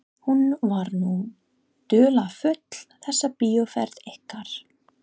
Hún var nú dularfull þessi bíóferð ykkar.